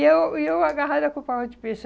E eu e eu agarrada com o pacote de peixe.